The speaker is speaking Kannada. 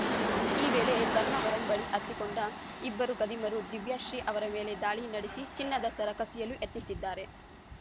ಈ ವೇಳೆ ಧರ್ಮವರಂ ಬಳಿ ಹತ್ತಿಕೊಂಡ ಇಬ್ಬರು ಖದೀಮರು ದಿವ್ಯಾಶ್ರೀ ಅವರ ಮೇಲೆ ದಾಳಿ ನಡೆಸಿ ಚಿನ್ನದ ಸರ ಕಸಿಯಲು ಯತ್ನಿಸಿದ್ದಾರೆ